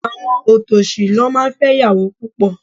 Àwọn òtòṣì ló máa ń fẹ́ ìyàwó púpọ̀.